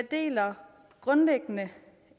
eller